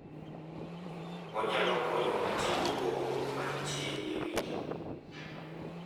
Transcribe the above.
Onyalo konyo e tieko pogruok ma nitie e winjo.